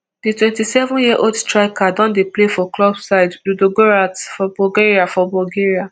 di twenty-seven yearold striker don dey play for club side ludogoretz for bulgaria for bulgaria